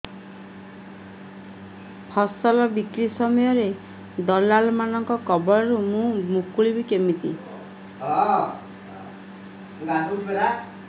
ଫସଲ ବିକ୍ରୀ ସମୟରେ ଦଲାଲ୍ ମାନଙ୍କ କବଳରୁ ମୁଁ ମୁକୁଳିଵି କେମିତି